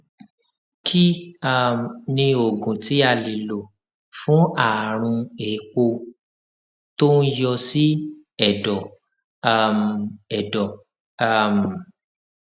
kí um ni oògùn tí a lè lò fún àrùn éèpo tó ń yọ sí èdò um èdò um